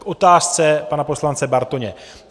K otázce pana poslance Bartoně.